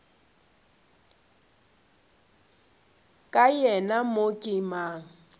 ka yena mo ke mang